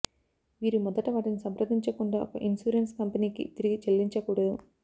మీరు మొదట వాటిని సంప్రదించకుండా ఒక ఇన్సూరెన్స్ కంపెనీకి తిరిగి చెల్లించకూడదు